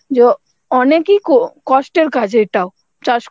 Hindi অনেক ই কো~ কষ্ঠের কাজ এটাও চাষ